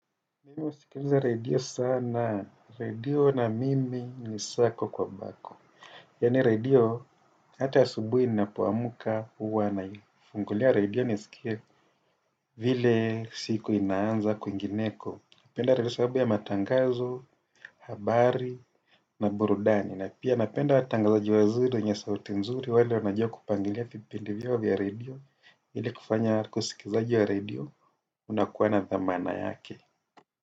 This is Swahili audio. Mimu husikiza redio sana. Redio na mimi ni sako kwa bako. Yaani redio hata ya subuhi ninapuamka huwa nafungulia redio nisikie vile siku inaanza kwingineko. Napenda redio kwa sababu ya matangazo, habari na burudani. Napenda watangazaji wazuri wenye sauti nzuri wale wanajua kupangilia vipindi vyao vya redio. Ili kufanya wasikilizaji wa redio wanakua na dhamana yake.